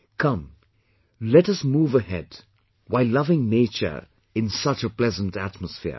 Come let us move ahead while loving nature in such a pleasant atmosphere